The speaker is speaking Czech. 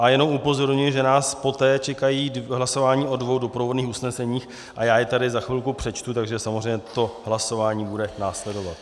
A jenom upozorňuji, že nás poté čekají hlasování o dvou doprovodných usneseních, a já je tady za chvilku přečtu, takže samozřejmě to hlasování bude následovat.